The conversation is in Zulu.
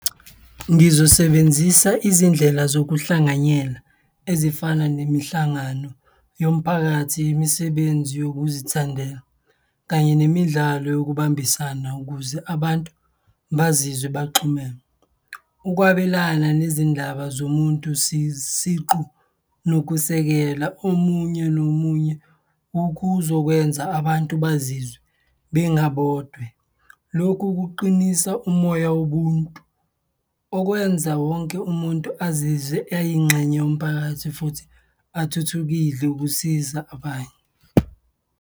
Ngizosebenzisa izindlela zokuhlanganyela ezifana nemihlangano yomphakathi, imisebenzi yokuzithandela kanye nemidlalo yokubambisana ukuze abantu bazizwe baxhumene. Ukwabelana nezindaba zomuntu siqu nokusekela omunye nomunye kuzokwenza abantu bazizwe bengabodwe, lokhu kuqinisa umoya wobuntu, okwenza wonke umuntu azizwe eyingxenye yomphakathi futhi athuthukile ukusiza abanye.